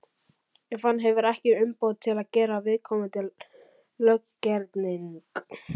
ef hann hefur ekki umboð til að gera viðkomandi löggerning.